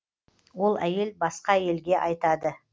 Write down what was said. ол әйел басқа әйелге айтады